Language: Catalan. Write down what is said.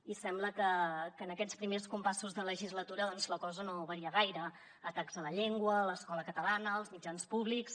i sembla que en aquests primers compassos de legislatura doncs la cosa no varia gaire atacs a la llengua a l’escola catalana als mitjans públics